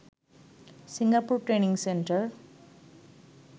Singapore training centre